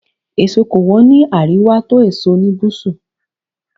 Fruits are cheaper in the north than in the south.